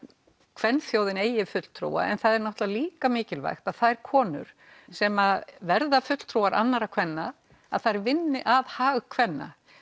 kvenþjóðin eigi fulltrúa það er náttúrulega líka mikilvægt að þær konur sem verða fulltrúar annara kvenna þær vinni að hag kvenna